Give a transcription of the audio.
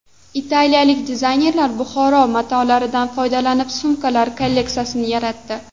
Italiyalik dizaynerlar Buxoro matolaridan foydalanib sumkalar kolleksiyasini yaratdi.